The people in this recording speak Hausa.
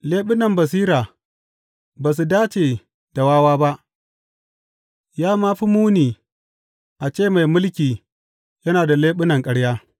Leɓunan basira ba su dace da wawa ba, ya ma fi muni a ce mai mulki yana da leɓunan ƙarya!